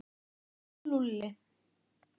Hvað sagði Lúlli?